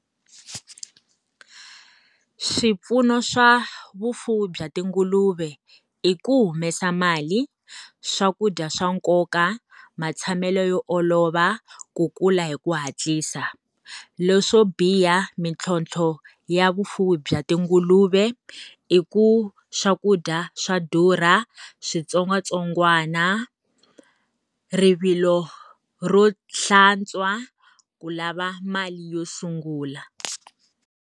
Swipfuno swa vufuwi bya tinguluve i ku humesa mali, swakudya swa nkoka, matshamelo yo olova, ku kula hi ku hatlisa. Leswo biha mintlhontlho ya vufuwi bya tinguluve, i ku swakudya swa durha, switsongwatsongwana, rivilo ro hlantswa, ku lava mali yo sungula.